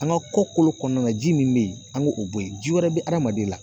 An ka kɔkolo kɔnɔna na ji min bɛ yen an k'o bɔ yen ji wɛrɛ bɛ adamaden la